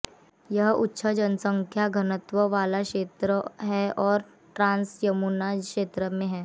यह उच्च जनसंख्या घनत्व वाला क्षेत्र है और ट्रांस यमुना क्षेत्र में है